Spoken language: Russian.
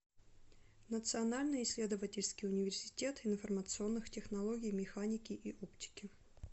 национальный исследовательский университет информационных технологий механики и оптики